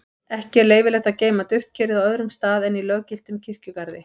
ekki er leyfilegt að geyma duftkerið á öðrum stað en í löggiltum kirkjugarði